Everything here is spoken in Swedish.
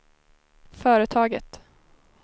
företaget